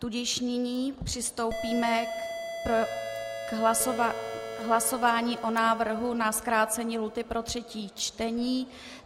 Tudíž nyní přistoupíme k hlasování o návrhu na zkrácení lhůty pro třetí čtení.